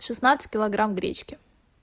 шестнадцать килограмм гречки